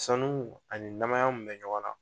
Sanu ani namaya mun bɛ ɲɔgɔn na